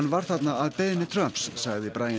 var þarna að beiðni Trumps sagði